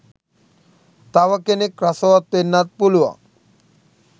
තව කෙනෙක් රසවත් වෙන්නත් පුළුවන්.